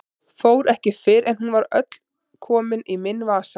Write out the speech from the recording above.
Fór ekki fyrr en hún var öll komin í minn vasa.